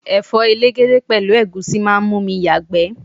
Ẹ̀fọ́ elegede pẹ̀lú egusi máa ń mú mi yagbe.